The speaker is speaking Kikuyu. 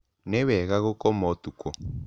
Nĩ wega gũkoma ũtukũ.